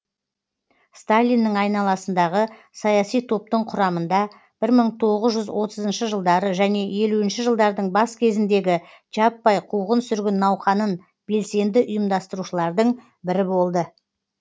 сталиннің айналасындағы саяси топтың құрамында бір мың тоғыз жүз отызыншы жылдары және елуінші жылдардың бас кезіндегі жаппай қуғын сүргін науқанын белсенді ұйымдастырушылардың бірі болды